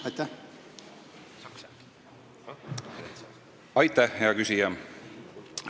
Aitäh, hea küsija!